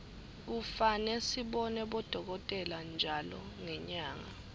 kufane sibone bodokotela ntjalo ngenyanga